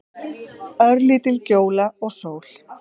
Örlítil gjóla og sól.